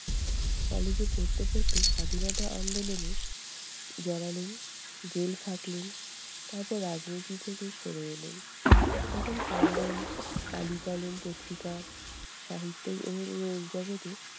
college এ পড়তে পড়তে স্বাধীনতা আন্দোলনে জড়ালেন, জেল খাটলেন, তারপর রাজনীতি থেকে সরে এলেন। তখন কল্লোল, কালী-কলম পত্রিকা, সাহিত্য জগতে